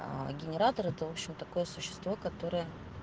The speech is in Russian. аа генератор это в общем такое существо которое